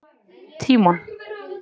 Tímon